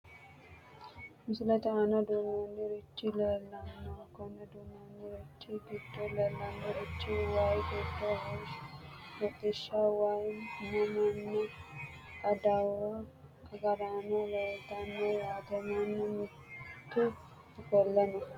Misilete aana duuchurichi leelano koni duuchurichi gido leelanorich wayi gidi hodhisha waa mananna adawu agaraano leeltano yaate manu mitu ofole no.